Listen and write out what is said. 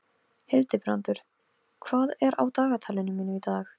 Hildibrandur, hvað er á dagatalinu mínu í dag?